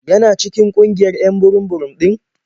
Yana cikin ƙungiyar 'yan burum-burum ɗin?